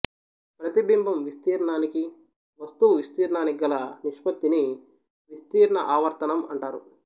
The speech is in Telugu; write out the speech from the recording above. ప్రతిబింబం విస్త్రీర్ణానికి వస్తువు విస్త్రీర్ణానికిగల నిష్పత్తిని విస్త్రీర్ణ ఆవర్ధనం అంటారు